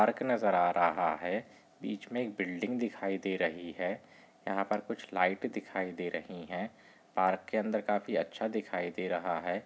Park नजर आ रहा है बीच मे एक बिल्डिंग दिखाई दे रही है यहा पर कुछ लाइट दिखाई दे रही है पार्क के अंदर काफी अच्छा दिखाई दे रहा है।